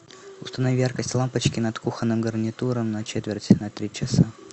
установи яркость лампочки над кухонным гарнитуром на четверть на три часа